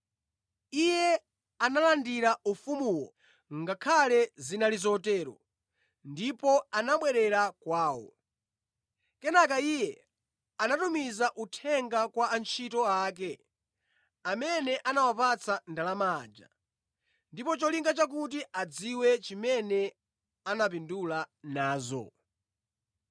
“Iye analandira ufumuwo ngakhale zinali zotero, ndipo anabwerera kwawo. Kenaka iye anatumiza uthenga kwa antchito ake amene anawapatsa ndalama aja, ndi cholinga chakuti adziwe chimene anapindula nazo.